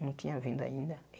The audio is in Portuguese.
Não tinha vindo ainda.